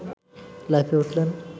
লাফিয়ে উঠলেন